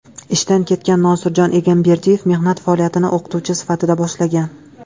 Ishdan ketgan Nosirjon Egamberdiyev mehnat faoliyatini o‘qituvchi sifatida boshlagan.